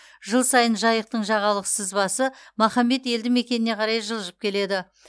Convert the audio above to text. жыл сайын жайықтың жағалық сызбасы махамбет елді мекеніне қарай жылжып келеді